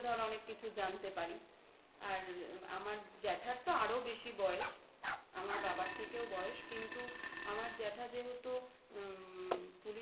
ধর অনেক কিছু জানতে পারি. আর আমার জ্যাঠার তো আরো বেশি বয়স আমার বাবার থেকেও বয়স কিন্তু আমার জ্যাঠা যেহেতু উমমম